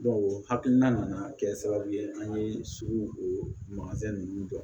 o hakilina nana kɛ sababu ye an ye suguya ninnu dɔn